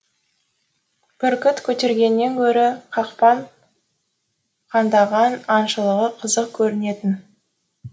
бүркіт көтергеннен гөрі қақпан қандаған аңшылығы қызық көрінетін